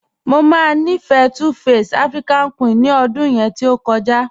Mọ máa nífẹ́ 2face African Queen ní ọ̀dún yẹn tí o jadẹ̀.